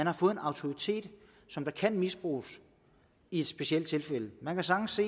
har fået en autoritet som kan misbruges i specielle tilfælde man kan sagtens